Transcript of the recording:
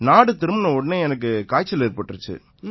நாடு திரும்பினவுடனேயே எனக்கு காய்ச்சல் ஏற்பட்டிருச்சு